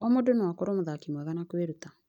O mũndũ no akorwo mũthaki mwega na kwĩruta.